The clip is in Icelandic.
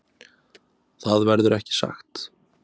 Það verður ekki sagt.